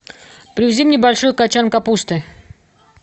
привези мне большой качан капусты